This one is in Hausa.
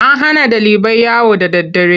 An hana ɗalibai yawo da daddare.